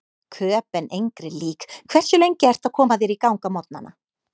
Köben engri lík Hversu lengi ertu að koma þér í gang á morgnanna?